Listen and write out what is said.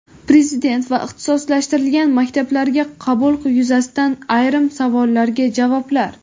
Prezident va ixtisoslashtirilgan maktablarga qabul yuzasidan ayrim savollarga javoblar.